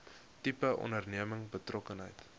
tipe onderneming betrokkenheid